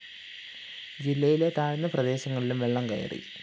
ജില്ലയിലെ താഴ്ന്ന പ്രദേശങ്ങളിലും വെള്ളം കയറി